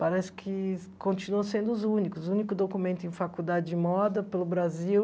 Parece que continuam sendo os únicos, o único documento em faculdade de moda pelo Brasil